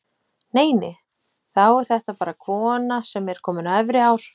Nei, nei, þá er þetta bara kona sem er komin á efri ár!